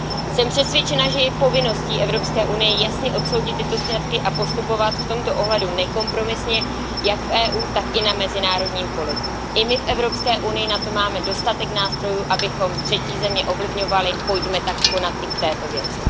Jsem přesvědčena, že je povinností Evropské unie jasně odsoudit tyto sňatky a postupovat v tomto ohledu nekompromisně jak v EU, tak i na mezinárodním poli. I my v Evropské unii máme dostatek nástrojů, abychom třetí země ovlivňovali, pojďme tak konat i v této věci.